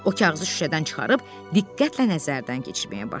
O kağızı şüşədən çıxarıb diqqətlə nəzərdən keçirməyə başladı.